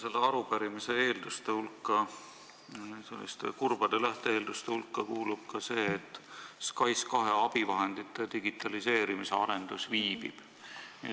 Selle arupärimise kurbade lähte-eelduste hulka kuulub ka see, et SKAIS2 abivahendite digitaliseerimise arendus viibib.